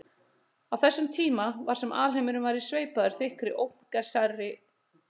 Á þessum tíma var sem alheimurinn væri sveipaður þykkri ógagnsærri þoku.